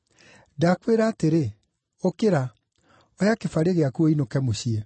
“Ndakwĩra atĩrĩ, ũkĩra, oya kĩbarĩ gĩaku ũinũke mũciĩ.”